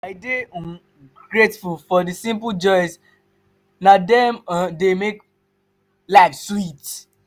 i dey um grateful for the simple joys; na dem um dey make life sweet.